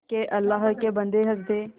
के अल्लाह के बन्दे हंस दे